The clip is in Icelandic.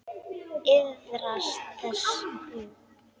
Iðrast þess nú.